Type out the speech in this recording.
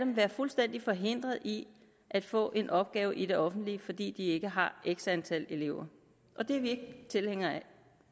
være fuldstændig forhindret i at få en opgave i det offentlige fordi de ikke har x antal elever og det er vi ikke tilhængere af